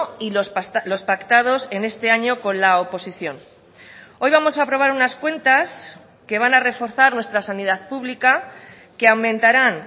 y los pactados en este año con la oposición hoy vamos a aprobar unas cuentas que van a reforzar nuestra sanidad pública que aumentarán